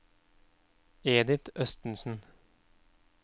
Edith Østensen